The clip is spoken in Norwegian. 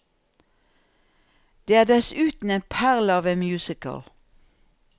Det er dessuten en perle av en musical.